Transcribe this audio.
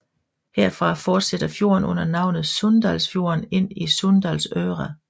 Herfra fortsætter fjorden under navnet Sunndalsfjorden ind til Sunndalsøra